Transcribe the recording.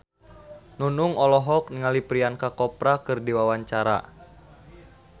Nunung olohok ningali Priyanka Chopra keur diwawancara